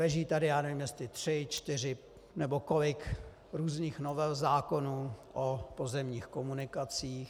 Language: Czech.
Leží tady, já nevím, jestli tři, čtyři nebo kolik různých novel zákonů o pozemních komunikacích.